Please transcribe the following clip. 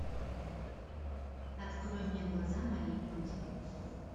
открой мне глаза моей матери